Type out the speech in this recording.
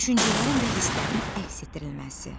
Düşüncələrin və hislərin əks etdirilməsi.